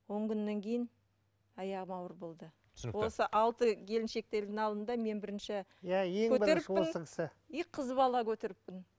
он күннен кейін аяғым ауыр болды түсінікті осы алты келіншектердің алдында мен бірінші и қыз бала көтеріппін